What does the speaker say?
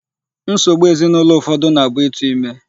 Nsogbu ezinụlọ ụfọdụ na-abụ ịtụ ime.